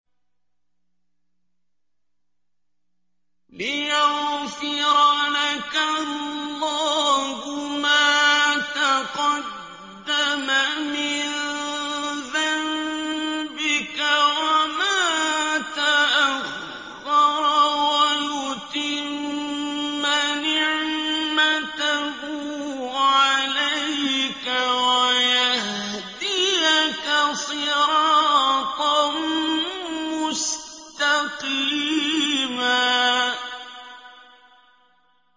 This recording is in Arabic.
لِّيَغْفِرَ لَكَ اللَّهُ مَا تَقَدَّمَ مِن ذَنبِكَ وَمَا تَأَخَّرَ وَيُتِمَّ نِعْمَتَهُ عَلَيْكَ وَيَهْدِيَكَ صِرَاطًا مُّسْتَقِيمًا